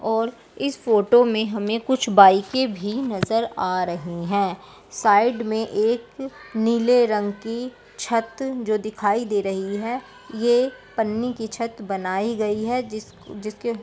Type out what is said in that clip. और इस फोटो में हमें कुछ बाइके भी नजर आ रही है। साइड में एक नीले रंग की छत जो दिखाई दे रही है। ये पन्नी की छत बनाई गई है। जिसक जिसके-।